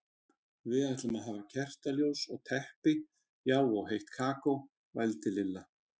Við ætlum að hafa kertaljós og teppi, já og heitt kakó, vældi Lilla.